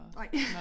Nej